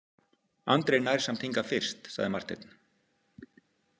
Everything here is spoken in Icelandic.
Andri nær samt hingað fyrst, sagði Marteinn.